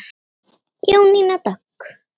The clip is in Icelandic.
Jónína Dögg.